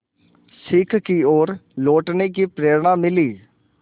सीख की ओर लौटने की प्रेरणा मिली